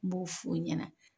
N b'o f'u ɲɛna